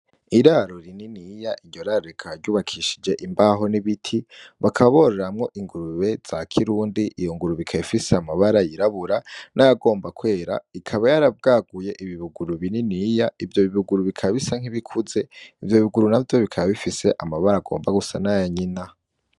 Iraro rininiya, iryo raro rikaba ry'ubakishije imbaho n'ibiti, bakaba bororeramwo ingurube za kirundi, iyo ngurube ikaba ifise amabara y'irabura nayagomba kwera, ikaba yarabwaguye ibi buguru bininiya, ivyo bibuguru bikaba bisa nkibikuze bikaba bifise amabara agomba gusa nkaya nyina.